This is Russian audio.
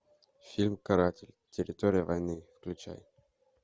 фильм каратель территория войны включай